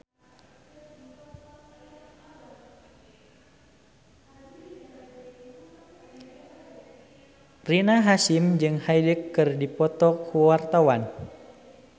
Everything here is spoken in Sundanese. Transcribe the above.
Rina Hasyim jeung Hyde keur dipoto ku wartawan